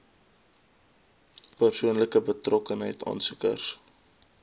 persoonlike betrokkenheid aansoekers